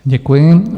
Děkuji.